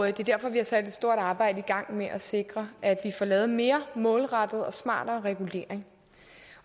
er derfor vi har sat et stort arbejde i gang med at sikre at vi får lavet mere målrettet og smartere regulering